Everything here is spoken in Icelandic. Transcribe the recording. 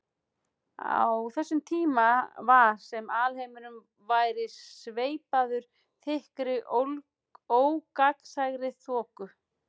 Á þessum tíma var sem alheimurinn væri sveipaður þykkri ógagnsærri þoku.